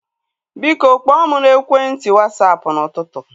Biko, kpọọ mụ n'ekwenti Wasapụ n'ụtụtụ